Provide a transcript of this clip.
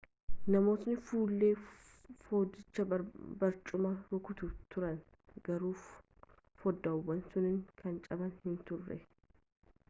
namootni fuullee foddichaa barcumaan rukutaa turani garuu foddaawwan sunniin kan caban hin turre